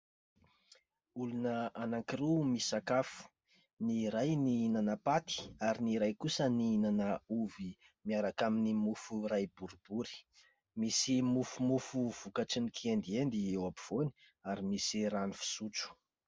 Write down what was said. Olona anankiroa misakafo. Ny iray nihinana paty ary ny iray kosa nihinana ovy miaraka amin'ny mofo iray boribory. Misy mofomofo vokatrin'ny kiendiendy eo ampovoany ary misy rano fisotro.